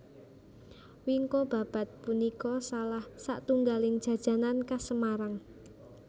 Wingko babad punika salah satunggaling jajanan khas Semarang